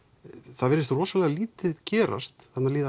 það virðist rosalega lítið gerast þarna líða